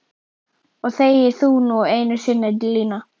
Og þegi þú nú einu sinni Lína!